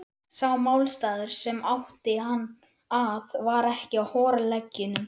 Sá málstaður, sem átti hann að, var ekki á horleggjunum.